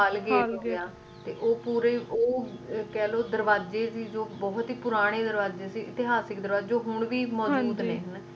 ਓਹ ਪੂਰਾ ਹੀ ਕਹਿਲੋ ਦਰਵਾਜੇ ਜੌ ਕਿ ਬਹੁਤ ਹੀ ਪੁਰਾਣੇ ਦਰਵਾਜੇ ਸੀ ਇਤਿਹਾਸਿਕ ਦਰਵਾਜੇ ਹੁਣ ਵੀ ਮਜੂਦ ਨੇ